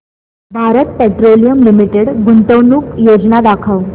Bharat petroleum limited गुंतवणूक योजना दाखव